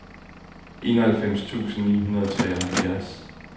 enoghalvfems tusind ni hundrede og treoghalvfjerds